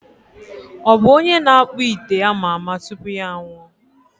Ọ bụ onye na-akpụ ite ama ama tupu ya anwụọ?